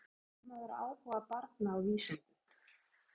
Hvernig vekur maður áhuga barna á vísindum?